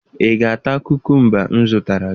Ị ga-ata kukumba m zụtara?